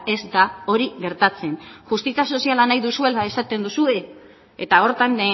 ez da hori gertatzen justizia soziala nahi duzuela esaten duzue eta horretan